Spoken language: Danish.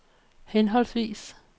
henholdsvis